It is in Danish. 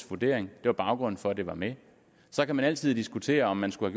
vurdering det var baggrunden for at det var med så kan man altid diskutere om man skulle